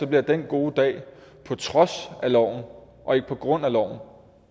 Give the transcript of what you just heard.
bliver den gode dag på trods af loven og ikke på grund af loven